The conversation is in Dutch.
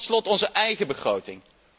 Tot slot onze eigen begroting.